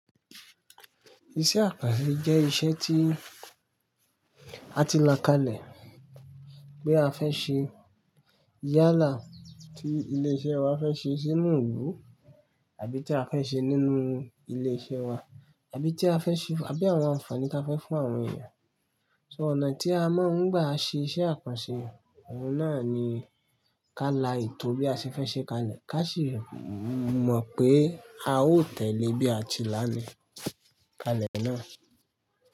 Iṣẹ́ àkànṣe jẹ́ iṣẹ́ tí a ti la kalẹ̀ pé a fẹ́ ṣe yálà tí ilé iṣẹ́ wa fẹ́ ṣe sínú ìlú àbí tí a fẹ́ ṣe nínú ilé iṣẹ́ wa, àbí tí a fẹ́ ṣe àbí àwọn àǹfààní tí a fẹ́ fún àwọn èèyàn. So ọ̀nà tí a mọ̀ ọ́n gbà ṣe iṣẹ́ àkànṣe, ọ̀ún náà ni ká la ìtò bí a ṣe fẹ́ ṣe kalẹ̀ ká sì mọ̀ pé a ó tẹ̀lé bí a ti lalẹ̀ kalẹ̀ náà.